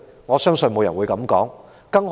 我相信沒有人會這樣說。